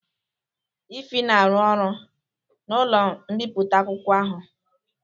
Ify na arụ ọrụ n'ụlọ mbipụta akwụkwọ ahụ